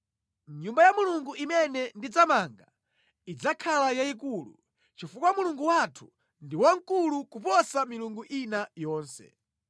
“Nyumba ya Mulungu imene ndidzamange idzakhala yayikulu, chifukwa Mulungu wathu ndi wamkulu kuposa milungu ina yonse.